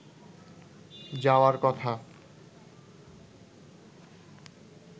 যাওয়ার কথা